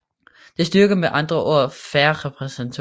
Det styrker med andre ord fair repræsentation